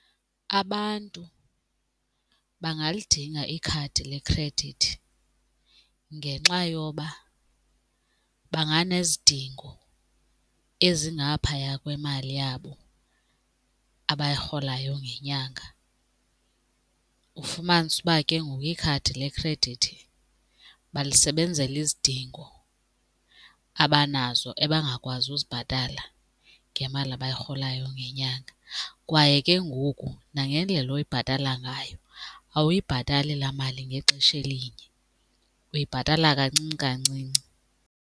Abantu bangalidinga ikhadi lekhredithi ngenxa yoba banganezidingo ezingaphaya kwemali yabo abayirholayo ngenyanga. Ufumanise uba ke ngoku ikhadi lekhredithi balisebenzela izidingo abanazo ebangakwazi uzibhatala ngemali abayirholayo ngenyanga kwaye ke ngoku nangendlela oyibhatala ngayo awuyibhatali laa mali ngexesha elinye, uyibhatala kancinci kancinci.